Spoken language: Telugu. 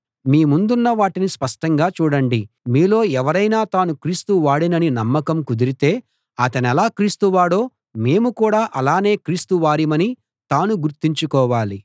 మీ ముందున్న వాటిని స్పష్టంగా చూడండి మీలో ఎవరైనా తాను క్రీస్తు వాడినని నమ్మకం కుదిరితే అతనెలా క్రీస్తు వాడో మేము కూడా అలానే క్రీస్తు వారిమని తాను గుర్తుంచుకోవాలి